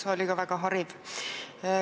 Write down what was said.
See oli ka väga hariv.